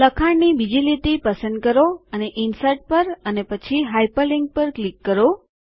લખાણની બીજી લીટી પસંદ કરો અને ઇન્સર્ટ પર અને પછી હાઇપરલિન્ક પર ક્લિક કરો